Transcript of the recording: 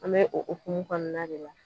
An bɛ o okumu kɔɔna de la